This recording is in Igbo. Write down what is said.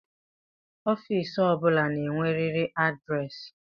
Ofiisi o bụla na-enweriri adịresị